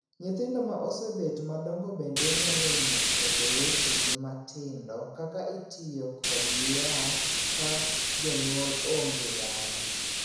Nyithindo ma osebet madongo bende nyalo nyiso jowetegi matindo kaka itiyo kod yath ka jonyuol onge dala.